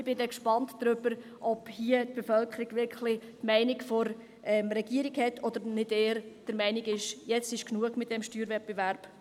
Ich bin gespannt, ob die Bevölkerung der Meinung der Regierung ist, oder ob sie nicht eher der Meinung ist, es sei genug mit dem Steuerwettbewerb.